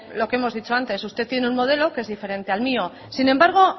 lo que hemos dicho antes usted tiene un modelo que es diferente al mío sin embargo